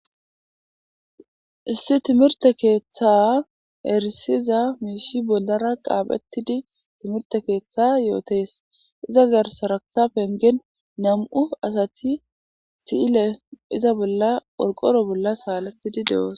Issi thimirththe keeththaa erissiza miishshi bollaara xaafeththidi thimirththe keeththaa yoothees; iza garssarakka penggen nam7u asathi si7ile iza bolla qorqqoro bolla saaleththidi de7oosona.